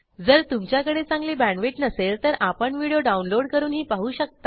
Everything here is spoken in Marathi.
जर तुमच्याकडे चांगली बॅण्डविड्थ नसेल तर आपण व्हिडिओ डाउनलोड करूनही पाहू शकता